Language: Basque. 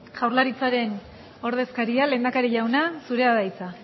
jaurlaritzaren ordezkaria lehendakari jauna zurea da hitza